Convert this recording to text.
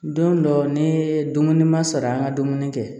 Don dɔ ni dumuni ma sara an ka dumuni kɛ